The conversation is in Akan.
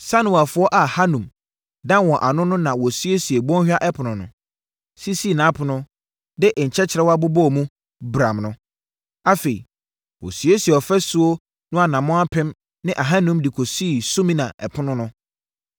Sanoafoɔ a Hanun da wɔn ano no na wɔsiesiee Bɔnhwa Ɛpono no, sisii nʼapono, de nkyerewa bobɔɔ mu, bramm no. Afei, wɔsiesiee ɔfasuo no anammɔn apem ne ahanum de kɔsii Sumina Ɛpono no.